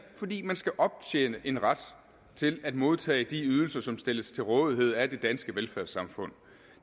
fordi man skal optjene en ret til at modtage de ydelser som stilles til rådighed af det danske velfærdssamfund